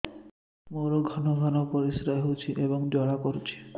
ମୋର ଘନ ଘନ ପରିଶ୍ରା ହେଉଛି ଏବଂ ଜ୍ୱାଳା କରୁଛି